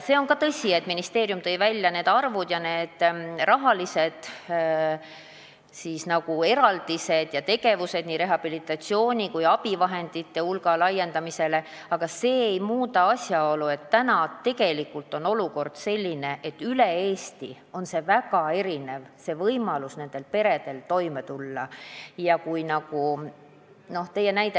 See on ka tõsi, et ministeerium tõi ära arvud ja rahaeraldised ja tegevused nii rehabilitatsiooni kui ka abivahendite hulga laiendamisele, aga see ei muuda asjaolu, et tegelik olukord on praegu selline, et üle Eesti on perede võimalus toime tulla väga erinev.